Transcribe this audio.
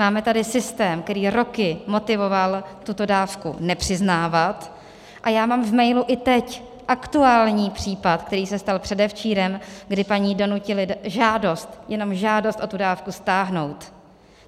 Máme tady systém, který roky motivoval tuto dávku nepřiznávat, a já mám v mailu i teď aktuální případ, který se stal předevčírem, kdy paní donutili žádost, jenom žádost o tu dávku, stáhnout.